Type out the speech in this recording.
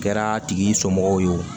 Kɛra tigi somɔgɔw ye o